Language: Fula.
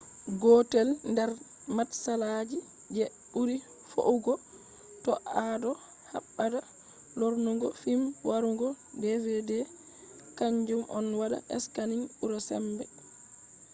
gotel nder matsalagi je buri feugo to ado habda lornugo fim warugo dvd kanjum on wada scanning bura sembe